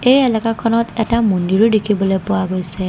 এই এলেকাখনত এটা মন্দিৰো দেখিবলৈ পোৱা গৈছে।